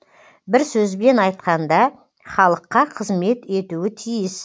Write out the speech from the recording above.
бір сөзбен айтқанда халыққа қызмет етуі тиіс